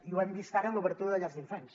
i ho hem vist ara amb l’obertura de llars d’infants